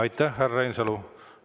Aitäh, härra Reinsalu!